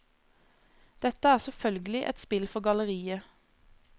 Dette er selvfølgelig et spill for galleriet.